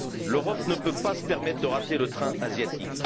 L'Europe ne peut se permettre de rater le train asiatique.